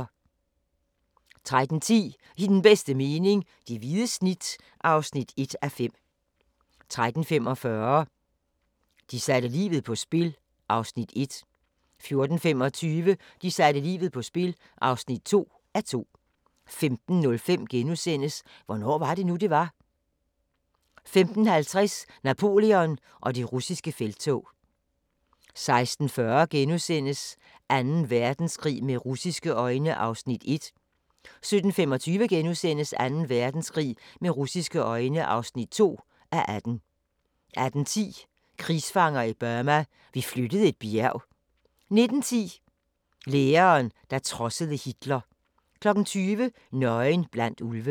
13:10: I den bedste mening - det hvide snit (1:5) 13:45: De satte livet på spil (1:2) 14:25: De satte livet på spil (2:2) 15:05: Hvornår var det nu, det var? * 15:50: Napoleon og det russiske felttog 16:40: Anden Verdenskrig med russiske øjne (1:18)* 17:25: Anden Verdenskrig med russiske øjne (2:18)* 18:10: Krigsfanger i Burma – vi flyttede et bjerg 19:10: Læreren, der trodsede Hitler 20:00: Nøgen blandt ulve